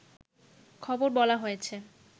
খবর বলা হয়েছে